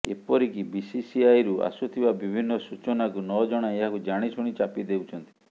ଏପରିକି ବିସିସିଆଇରୁ ଆସୁଥିବା ବିଭିନ୍ନ ସୂଚନାକୁ ନଜଣାଇ ଏହାକୁ ଜାଣିଶୁଣି ଚାପି ଦେଉଛନ୍ତି